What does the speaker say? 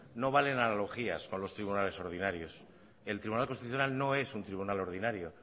no valen analogías con los tribunales ordinarios el tribunal constitucional no es un tribunal ordinario